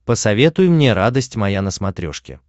посоветуй мне радость моя на смотрешке